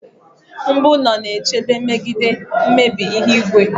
mbu ulo na-echebe megide mmebi ihu igwe